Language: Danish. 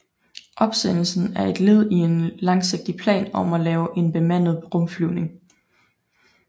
Opsendelsen er et led i en langsigtet plan om at lave en bemandet rumflyvning